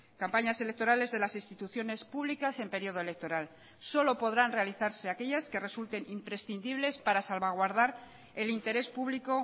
campañas electorales de las instituciones públicas en periodo electoral solo podrán realizarse aquellas que resulten imprescindibles para salvaguardar el interés público